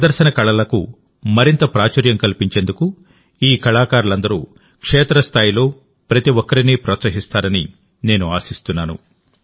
ప్రదర్శన కళలకు మరింత ప్రాచుర్యం కల్పించేందుకు ఈ కళాకారులందరూ క్షేత్రస్థాయిలో ప్రతి ఒక్కరినీ ప్రోత్సహిస్తారని నేను ఆశిస్తున్నాను